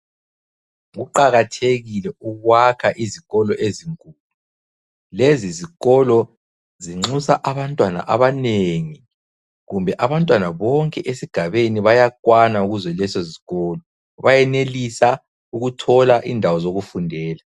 Kuqakathekile ukwakha izikolo ezinkulu, lezi zikolo zinxusa abantwana abanengi kumbe abantwana bonke esigabeni bayakwana kuzo kuzolezozikolo bayenelisa ukuthola indawo zokufundela.